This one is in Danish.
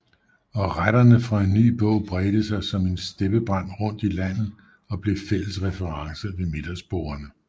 Og retterne fra en ny bog bredte sig som en steppebrand rundt i landet og blev fælles reference ved middagsbordene